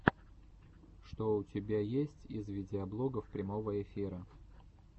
что у тебя есть из видеоблогов прямого эфира